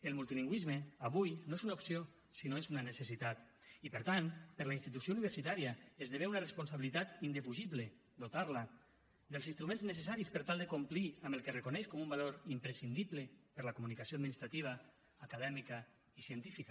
el multilingüisme avui no és una opció sinó que és una necessitat i per tant per a la institució universitària esdevé una responsabilitat indefugible dotar la dels instruments necessaris per tal de complir amb el que reconeix com un valor imprescindible per a la comunicació administrativa acadèmica i científica